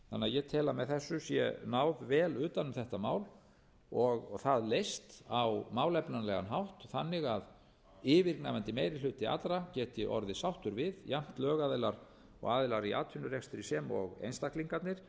ég tel að með þessu sé náð vel utan um þetta mál og það leyst á málefnalegan hátt þannig að yfirgnæfandi meiri hluti allra geti orðið sáttur við jafnt lögaðilar og aðilar í atvinnurekstri sem og einstaklingarnir